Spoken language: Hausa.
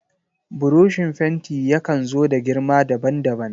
Burushin fenti yakan zo da girma daban daban.